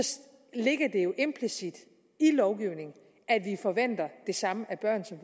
ligger det jo implicit i lovgivningen at vi forventer det samme af børn som